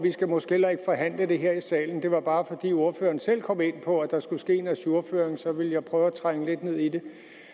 vi skal måske heller ikke forhandle det her i salen det var bare fordi ordføreren selv kom ind på at der skulle ske en ajourføring og så ville jeg prøve at trænge lidt ned i det